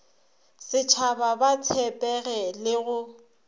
setshaba ba tshepege le go